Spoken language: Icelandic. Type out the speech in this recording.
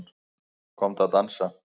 Komdu að dansa